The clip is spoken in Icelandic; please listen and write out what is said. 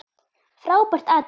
Frábært atriði.